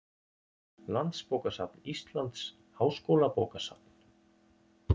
Landsbókasafn Íslands, Háskólabókasafn.